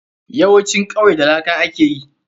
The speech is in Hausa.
Yawancin kwaiye da laka aka yi.